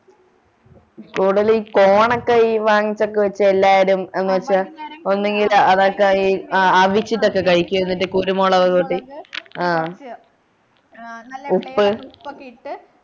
കൂടുതലി corn ഒക്കെ ഈ വാങ്ങിച്ചോക്കെ വെച്ച് എല്ലാരും എന്നിട്ട് ഒന്നുകില് അതൊക്കെ ഈ ആഹ് ആവിശ്യത്തിന് ഒക്കെ കഴിക്കുന്നത് എന്നിട്ട് കുരുമുളക് കൂട്ടി ആഹ് ഉപ്പ്